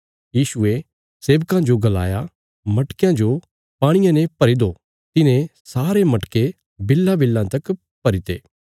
यीशुये सेबकां जो गलाया मटकयां जो पाणिये ने भरी दो तिन्हें सारे मटके बिल्लांबिल्लां तक भरीते